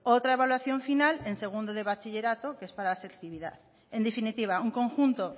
otra evaluación final en segundo de bachillerato que es para la selectividad en definitiva un conjunto